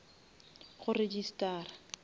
go registara